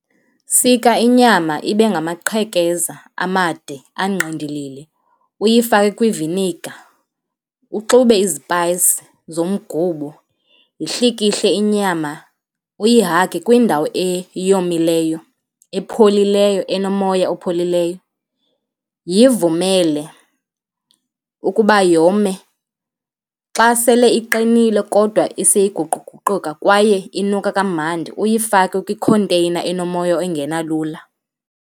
Sika inyama ibe ngamaqhekeza amade, angqindilili, uyifake kwiviniga, uxube izipayisi zomgubo, yihlikihle inyama, uyihage kwindawo eyomileyo, epholileyo, enomoya opholileyo. Yivumele ukuba yome. Xa sele iqinile kodwa iseyiguququka kwaye inuka kamandi uyifake kwikhonteyina enomoya ongena lula.